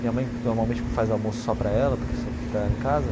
Minha mãe normalmente faz almoço só para ela, porque só fica ela em casa.